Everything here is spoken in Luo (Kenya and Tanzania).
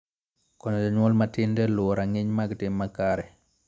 Koyo jonyuol matindo e luwo rang'iny mag tim makare.